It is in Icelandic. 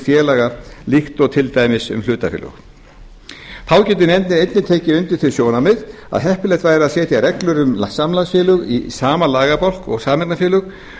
félaga líkt og er um til dæmis hlutafélög þá getur nefndin einnig tekið undir þau sjónarmið að heppilegt væri að setja reglur um samlagsfélög í sama lagabálk og sameignarfélög